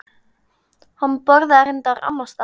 Hann borðaði reyndar annars staðar.